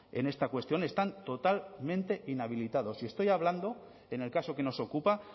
en esta cuestión están totalmente inhabilitados y estoy hablando en el caso que nos ocupa